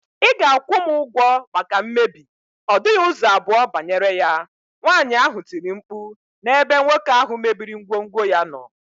Ị ga- akwụ m ụgwọ maka mmebi, ọ dịghị ụzọ abụọ banyere ya, nwaanyị ahụ tiri mkpu n' ebe nwoke ahụ mebiri ngwongwo ya nọ.